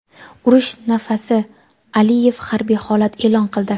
Urush nafasi: Aliyev harbiy holat e’lon qildi.